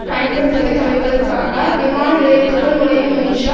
பயன்படுத்துவதை தவிர்ப்பதற்காக விமான நிலையத்துக்குள் நுளைய முயன்ற